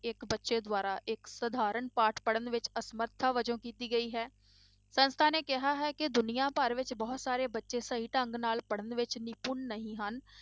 ਇੱਕ ਬੱਚੇ ਦੁਆਰਾ ਇੱਕ ਸਧਾਰਨ ਪਾਠ ਪੜ੍ਹਣ ਵਿੱਚ ਅਸਮਰਥਾ ਵਜੋਂ ਕੀਤੀ ਗਈ ਹੈ, ਸੰਸਥਾ ਨੇ ਕਿਹਾ ਹੈ ਕਿ ਦੁਨੀਆਂ ਭਰ ਵਿੱਚ ਬਹੁਤ ਸਾਰੇ ਬੱਚੇ ਸਹੀ ਢੰਗ ਨਾਲ ਪੜ੍ਹਣ ਵਿੱਚ ਨਿਪੁੰਨ ਨਹੀਂ ਹਨ।